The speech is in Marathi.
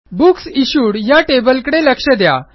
बुक्स इश्यूड या टेबलकडे लक्ष द्या